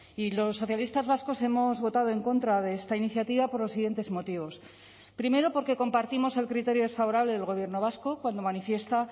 y los socialistas vascos hemos votado en contra de esta iniciativa por los siguientes motivos primero porque compartimos el criterio desfavorable del gobierno vasco cuando manifiesta